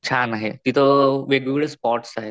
छान आहे तिथं वेगळे स्पॉट्स आहेत.